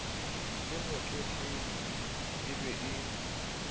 le motletlebi e be le